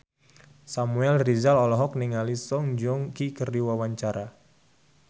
Samuel Rizal olohok ningali Song Joong Ki keur diwawancara